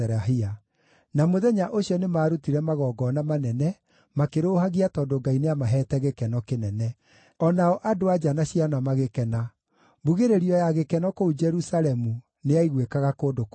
Na mũthenya ũcio nĩmarutire magongona manene, makĩrũũhagia tondũ Ngai nĩamaheete gĩkeno kĩnene. O nao andũ-a-nja na ciana magĩkena. Mbugĩrĩrio ya gĩkeno kũu Jerusalemu nĩyaiguĩkaga kũndũ kũraya.